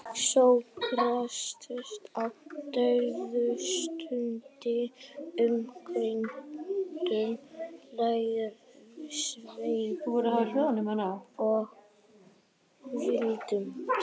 Sókrates á dauðastundinni umkringdur lærisveinum og vinum.